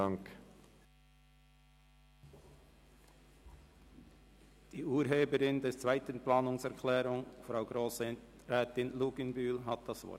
Die Urheberin der zweiten Planungserklärung, Grossrätin Luginbühl, hat das Wort.